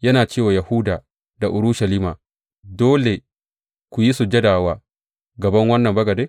yana ce wa Yahuda da Urushalima, Dole ku yi sujada wa gaban wannan bagade?